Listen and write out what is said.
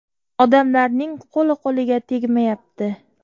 Odamlarning qo‘li-qo‘liga tegmayapti.